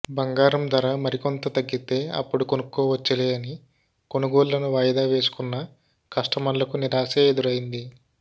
బంగారం ధర మరికొంత తగ్గితే అప్పుడు కొనుక్కోవచ్చులే అని కొనుగోళ్లను వాయిదా వేసుకున్న కస్టమర్లకు నిరాశే ఎదురైంది